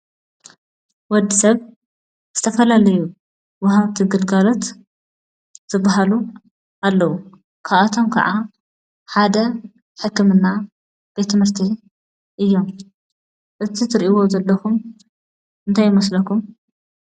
ወዲ ሰብ ዝትፈላለዩ ወሃብቲ ግልጋሎት ዝባሃሉ ኣለዉ፡፡ ካብኣቶም ከዓ ሓደ ሕክምና፣ ቤት ት/ቲ እዮም፡፡ እቲ ትርእዎም ዘለኩም እንታይ ይመስለኩም?